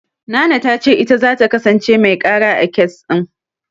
Nana ta ce ita zata kasance mai ƙara, a kes ɗin.